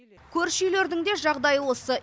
көрші үйлердің де жағдайы осы